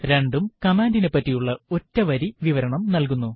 രണ്ടും കമാൻഡിനെപ്പറ്റിയുള്ള ഒറ്റ വരി വിവരണം നൽകുന്നു